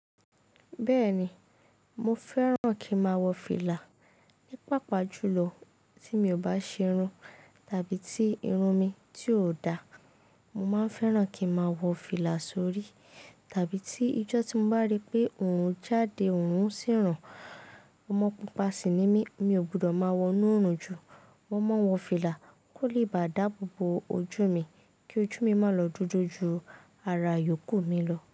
Bẹ́ẹ̀ni, mo fẹ́ràn kí n máa wọ fìlà. Ní pàápàá jùlọ tí mi ò bá ṣe irun tàbí tí irun mi ti ò dá, mo máa fẹ́ràn kí n máa wọ fìlà sórí. Tàbí tí ijọ́ tí mo bá rí pé òorun jáde, òorun sì ran, ọmọ pupa sì ni mí, mi ò gbọdọ̀ máa wọ inú oorùn jù, mo máa ń wọ fìlà kó lè ba dáàbò bo ojú mi kí ojú mi má lọ jójó ju ara yòókù mi lọ.